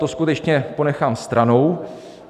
To skutečně ponechám stranou.